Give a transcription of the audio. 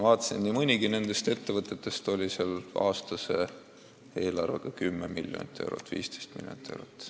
Nii mõnigi nendest ettevõtetest oli aastase eelarvega 10 miljonit või 15 miljonit eurot.